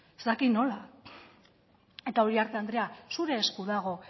ez dakit nola eta uriarte andrea zure esku dago